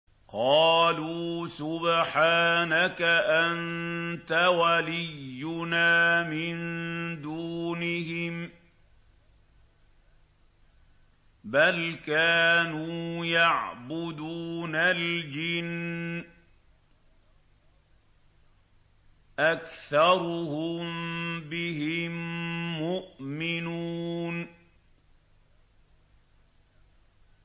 قَالُوا سُبْحَانَكَ أَنتَ وَلِيُّنَا مِن دُونِهِم ۖ بَلْ كَانُوا يَعْبُدُونَ الْجِنَّ ۖ أَكْثَرُهُم بِهِم مُّؤْمِنُونَ